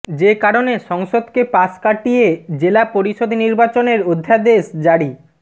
যে কারণে সংসদকে পাশ কাটিয়ে জেলা পরিষদ নির্বাচনের অধ্যাদেশ জারি